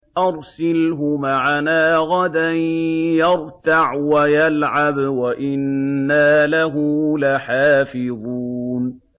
أَرْسِلْهُ مَعَنَا غَدًا يَرْتَعْ وَيَلْعَبْ وَإِنَّا لَهُ لَحَافِظُونَ